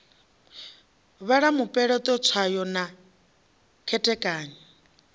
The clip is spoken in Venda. vhala mupeleṱo tswayo na khethekanyo